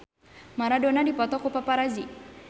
Maradona dipoto ku paparazi